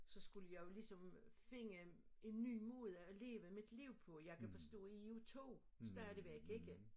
Så skulle jeg jo ligesom finde en ny måde at leve mit liv på jeg kan forstå i er jo 2 stadigvæk ikke